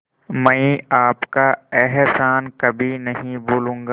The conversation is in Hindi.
मैं आपका एहसान कभी नहीं भूलूंगा